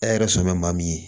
E yɛrɛ sɔmin maa min ye